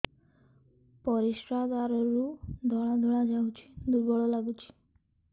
ପରିଶ୍ରା ଦ୍ୱାର ରୁ ଧଳା ଧଳା ଯାଉଚି ଦୁର୍ବଳ ଲାଗୁଚି